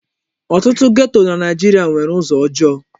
Ọtụtụ geto na Naijiria nwere ụzọ ọjọọ.